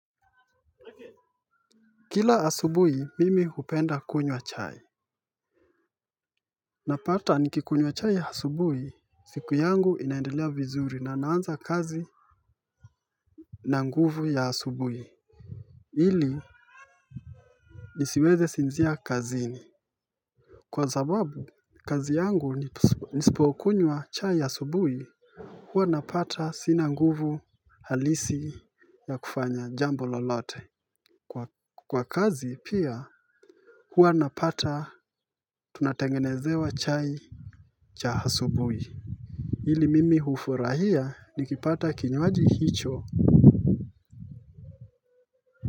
Kila asubui mimi hupenda kunywa chai. Napata nikikunywa chai asubuhi. Siku yangu inaendelea vizuri na naanza kazi. Na nguvu ya asubuhi. Hili nisiweze sinzia kazini. Kwa zababu kazi yangu nisipo kunywa chai ya asubuhi. Huwa napata sina nguvu halisi ya kufanya jambo lolote. Kwa kazi pia kwa napata tunatengenezewa chai. Chahasubui hili mimi hufurahia nikipata kinywaji hicho.